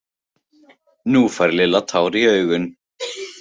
Nú fékk Lilla tár í augun.